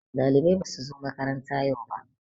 Ɗalibai basu zo makaranta yau ba